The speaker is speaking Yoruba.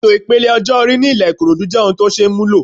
Ètò ipele ọjọ́ orí ní ilẹ Ikorodu jẹ́ ohun tó ṣeé múlò.